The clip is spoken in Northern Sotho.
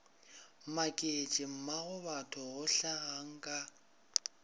maketše mmagobatho go hlagang ka